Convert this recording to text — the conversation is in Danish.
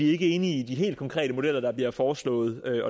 ikke enige i de helt konkrete modeller der bliver foreslået